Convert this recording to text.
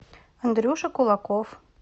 андрюша кулаков